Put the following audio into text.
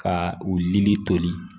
Ka u lili toli